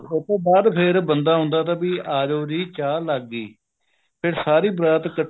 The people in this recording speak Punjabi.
ਉਹ ਤੋਂ ਬਾਅਦ ਫ਼ਿਰ ਬੰਦਾ ਆਉਂਦਾ ਤਾ ਵੀ ਆਜੋ ਜੀ ਚਾਹ ਲੱਗ ਗਈ ਫ਼ਿਰ ਸਾਰੀ ਬਰਾਤ ਇੱਕਠੀ